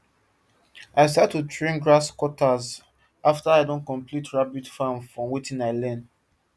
i start to train grasscutters after i don complete rabbit farm from watin i learn